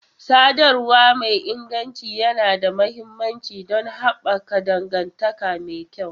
Sadarwa mai inganci yana da mahimmanci don haɓaka dangantaka mai kyau.